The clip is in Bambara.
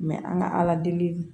an ka ala deli